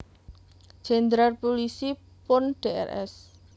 Jenderal Pulisi Purn Drs